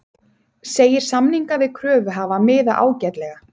Segir samninga við kröfuhafa miða ágætlega